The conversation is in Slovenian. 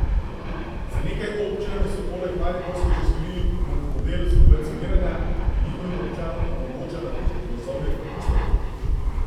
Z nekaj občinami so poleg mariborske že sklenili model subvencioniranja, ki njihovim občanom omogoča nakup vozovnic s popustom.